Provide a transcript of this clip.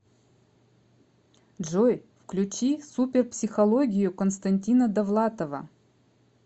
джой включи супер психологию константина довлатова